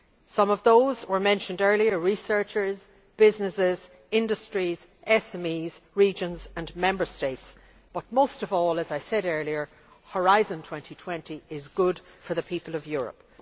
Some of those were mentioned earlier researchers, businesses, industries, SMEs, regions and Member States but, most of all, as I said earlier, Horizon 2020 is good for the people of Europe.